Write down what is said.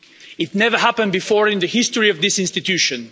This has never happened before in the history of this institution.